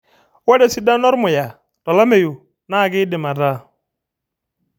Ore esidano ormuya tolameyu NAA kidim ataa